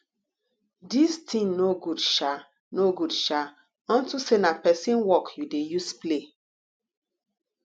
dis thing no good shaa no good shaa unto say na person work you dey use play